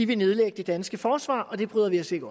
vil nedlægge det danske forsvar og det bryder vi os ikke